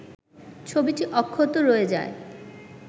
ছবিটি অক্ষত রয়ে যায়